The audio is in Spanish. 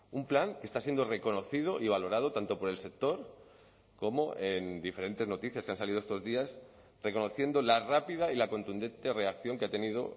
un plan que está siendo reconocido y valorado tanto por el sector como en diferentes noticias que han salido estos días reconociendo la rápida y la contundente reacción que ha tenido